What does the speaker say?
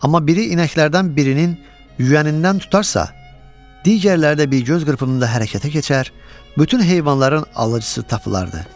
Amma biri inəklərdən birinin yüyənindən tutarsa, digərləri də bir göz qırpımında hərəkətə keçər, bütün heyvanların alıcısı tapılardı.